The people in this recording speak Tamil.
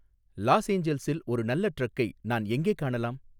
லாஸ் ஏஞ்சல்ஸில் ஒரு நல்ல டிரக்கை நான் எங்கே காணலாம்